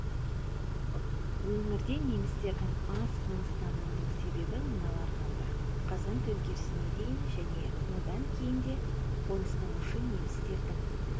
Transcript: өңірде немістердің аз қоныстануының себебі мыналар болды қазан төңкерісіне дейін және одан кейін де қоныстанушы немістердің